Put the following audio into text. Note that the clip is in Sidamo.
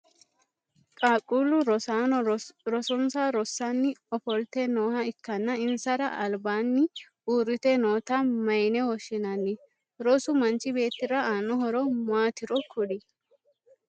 Qaaqquulu rosaano rosonsa rosanni ofolte nooha ikanna insara albaanni uurite noota mayine woshinnanni? Rosu manchi beetira aano horo maatiro kuli?